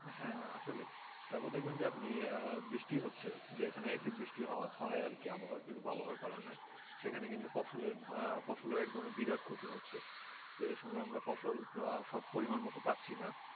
আসলে তারপর দেখবেন যে আপনি বৃষ্টি হচ্ছে যেখানে অ্যাসিড বৃষ্টি হওয়া হয় আর কি আবহাওয়ার কিছু কারণে সেখানে কিন্তু ফসলের ফসলের এক ধরনের বিরাট ক্ষতি হচ্ছে তো এই সময় আমরা ফসল সব পরিমাণ মতো পাচ্ছি না